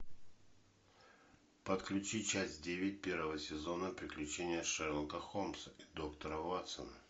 подключи часть девять первого сезона приключения шерлока холмса и доктора ватсона